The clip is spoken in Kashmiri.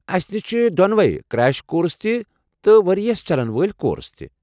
اسہِ نش چھِ دۄنوے کرٛیش کورس تہِ تہٕ ؤرِیِس چلن وٲلۍ كورس تہِ ۔